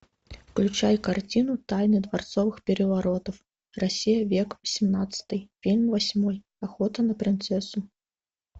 включай картину тайна дворцовых переворотов россия век восемнадцатый фильм восьмой охота на принцессу